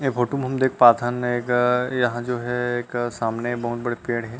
ए photo में हम देख पाथन एगर यहाँ जो है एक सामने बहुत बड़े पेड़ हे।